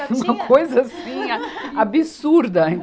Uma coisa, assim, a absurda.